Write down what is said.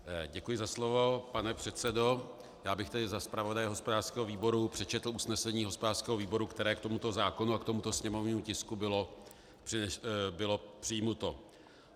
Děkuji za slovo, pane předsedo, já bych tedy za zpravodaje hospodářského výboru přečetl usnesení hospodářského výboru, které k tomuto zákonu a k tomuto sněmovnímu tisku bylo přijato.